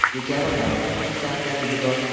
Bu kabi qarorning ikkita afzalligi bor.